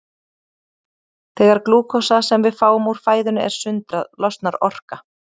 Þegar glúkósa sem við fáum úr fæðunni er sundrað losnar orka.